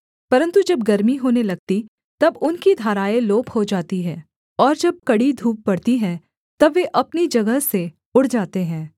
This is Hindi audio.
परन्तु जब गरमी होने लगती तब उनकी धाराएँ लोप हो जाती हैं और जब कड़ी धूप पड़ती है तब वे अपनी जगह से उड़ जाते हैं